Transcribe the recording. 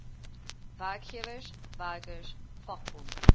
werkgewers werkers vakbonde